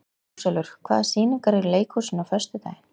Ljósálfur, hvaða sýningar eru í leikhúsinu á föstudaginn?